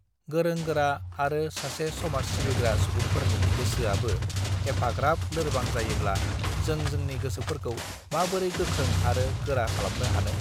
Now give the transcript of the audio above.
गोरों गोरा आरो सासे समाज सिबिग्रा सुबुंफोरनि गोसोआनो एफाग्राब लोरबां जायोब्ला जों जोंनि गोसोफोरखौ माबोरै गोख्रों आरो गोरा खालामनो हानोॽ